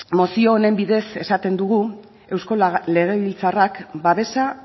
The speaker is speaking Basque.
mozio honen bidez esaten dugu eusko legebiltzarrak babesa